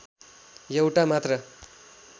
एउटा मात्र